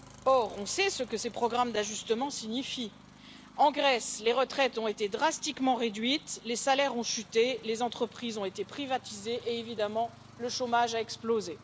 Or, on sait ce que ces programmes d'ajustement signifient en Grèce, les retraites ont été drastiquement réduites, les salaires ont chuté, les entreprises ont été privatisées et, bien entendu, le chômage a explosé.